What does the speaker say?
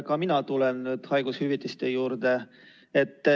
Ka mina tulen haigushüvitise juurde.